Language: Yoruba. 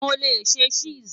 Mo le ṣe Chess